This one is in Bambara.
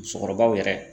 Musokɔrɔbaw yɛrɛ